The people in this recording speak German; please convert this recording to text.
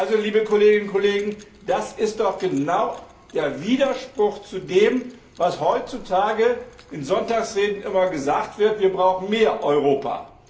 Also, liebe Kolleginnen und Kollegen, das ist doch genau der Widerspruch zu dem, was heutzutage in Sonntagsreden immer gesagt wird Wir brauchen mehr Europa.